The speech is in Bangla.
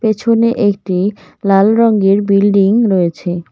পেছনে একটি লাল রঙের বিল্ডিং রয়েছে।